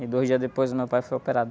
E dois dias depois o meu pai foi operado.